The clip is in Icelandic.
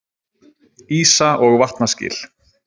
Ísa- og vatnaskil.